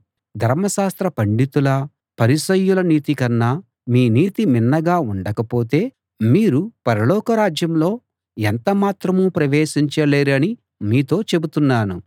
ధర్మశాస్త్ర పండితుల పరిసయ్యుల నీతికన్నా మీ నీతి మిన్నగా ఉండకపోతే మీరు పరలోకరాజ్యంలో ఎంత మాత్రమూ ప్రవేశించలేరని మీతో చెబుతున్నాను